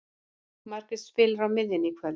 Margrét spilar á miðjunni í kvöld.